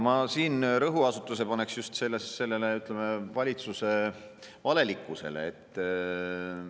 Ma paneksin rõhuasetuse just valitsuse valelikkusele.